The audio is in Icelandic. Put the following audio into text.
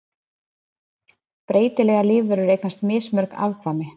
breytilegar lífverur eignast mismörg afkvæmi